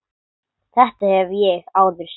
Þetta hef ég áður sagt.